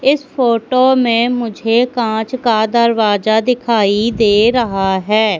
इस फोटो में मुझे कांच का दरवाजा दिखाई दे रहा है।